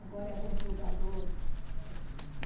Agora é computador.